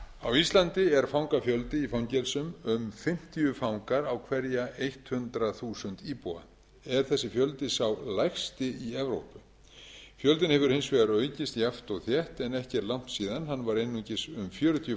á íslandi er fangafjöldi í fangelsum um fimmtíu fangar á hverja hundrað þúsund íbúa er þessi fjöldi sá lægsti í evrópu fjöldinn hefur hins vegar aukist jafnt og þétt en ekki er langt síðan hann var einungis um fjörutíu